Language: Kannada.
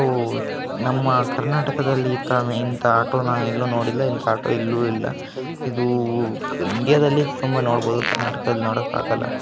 ನಮ್ಮ ಕರ್ನಾಟಕದಲ್ಲಿ ಇಂಥ ಆಟೋ ನ ಎಲ್ಲೂ ನೋಡಿಲ್ಲ ಇಂಥ ಆಟೋ ಎಲ್ಲೂ ಇಲ್ಲ ಇದು ಇಂಡಿಯಾದಲ್ಲೇ ಸುಮ್ನೆ ಮಾಡ್ಬಹುದು ಕರ್ನಾಟಕದಲ್ಲಿ ನೋಡಕ್ ಆಗಲ್ಲ.